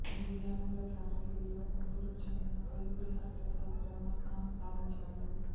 దివ్యాంగుల కేటగిరీలో గుంటూరుకు చెందిన కల్లూరి హరిప్రసాద్ ప్రథమస్థానం సాధించాడు